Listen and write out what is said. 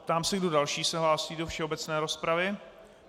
Ptám se, kdo další se hlásí do všeobecné rozpravy.